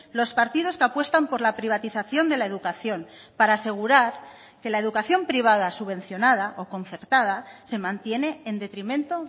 los partidos que apuestan por la privatización de la educación para asegurar que la educación privada subvencionada o concertada se mantiene en detrimento